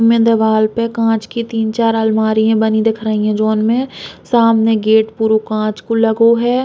मे दीवाल पे कांच के तीन चार आलमारियां बनी दिख रही हैं। जोन मे सामने गेट पुरो काँच को लगो है।